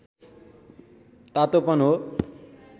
तातोपन हो